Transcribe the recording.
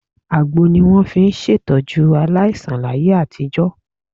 Àgbo ni wọ́n fi ń ṣètọ́jú aláìsàn láyé àtijọ́.